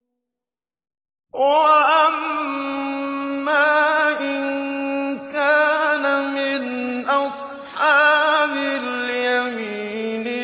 وَأَمَّا إِن كَانَ مِنْ أَصْحَابِ الْيَمِينِ